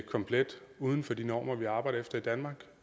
komplet uden for de normer vi arbejder efter i danmark